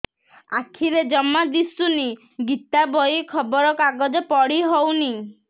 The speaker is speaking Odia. ଆଖିରେ ଜମା ଦୁଶୁନି ଗୀତା ବହି ଖବର କାଗଜ ପଢି ହଉନି